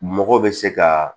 Mɔgɔ bɛ se ka